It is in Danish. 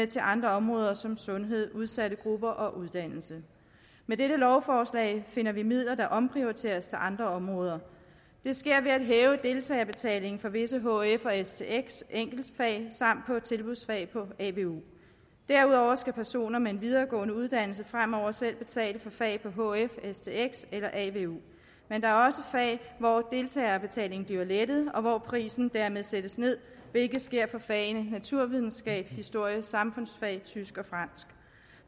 til andre områder som sundhed udsatte grupper og uddannelse med dette lovforslag finder vi midler der omprioriteres til andre områder det sker ved at hæve deltagerbetalingen for visse hf og stx enkeltfag samt på tilbudsfag på avu derudover skal personer med en videregående uddannelse fremover selv betale for fag på hf stx eller avu men der er også fag hvor deltagerbetalingen bliver lettet og hvor prisen dermed sættes ned hvilket sker for fagene naturvidenskab historie samfundsfag tysk og fransk